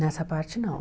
Nessa parte, não.